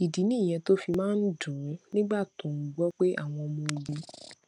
ìdí nìyẹn tó fi máa ń dùn ún nígbà tó ń gbó pé àwọn ọmọ ogun